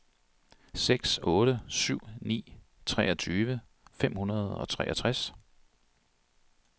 seks otte syv ni treogtyve fem hundrede og treogtres